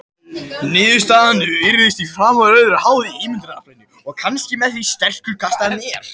Niðurstaðan virðist því framar öðru háð ímyndunaraflinu og kannski því hversu sterkur kastarinn er.